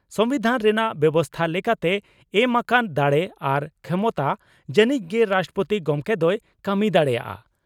ᱥᱚᱢᱵᱤᱫᱷᱟᱱ ᱨᱮᱱᱟᱜ ᱵᱮᱵᱚᱥᱛᱟ ᱞᱮᱠᱟᱛᱮ ᱮᱢ ᱟᱠᱟᱱ ᱫᱟᱲᱮ ᱟᱨ ᱠᱷᱮᱢᱚᱛᱟ ᱡᱟᱱᱤᱡ ᱜᱮ ᱨᱟᱥᱴᱨᱚᱯᱳᱛᱤ ᱜᱚᱢᱠᱮ ᱫᱚᱭ ᱠᱟᱹᱢᱤ ᱫᱟᱲᱮᱭᱟᱜᱼᱟ ᱾